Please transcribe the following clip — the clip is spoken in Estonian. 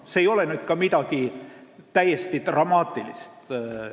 See ei ole ka midagi dramaatilist.